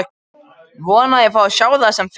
Vona að ég fái að sjá það sem fyrst.